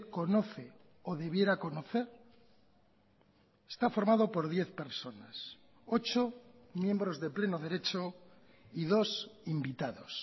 conoce o debiera conocer está formado por diez personas ocho miembros de pleno derecho y dos invitados